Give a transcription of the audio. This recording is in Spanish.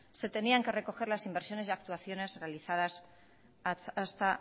se tenían que recoger las inversiones y actuaciones realizadas hasta